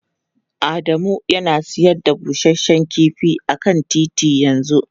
Adamu yana sayar da busasshen kifi a kan titi yanzu.